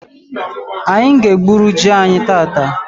Anyị ga egburu jị anyị tata